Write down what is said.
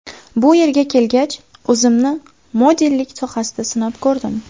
Bu yerga kelgach, o‘zimni modellik sohasida sinab ko‘rdim.